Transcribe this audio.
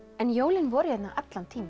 en jólin voru hérna allan tímann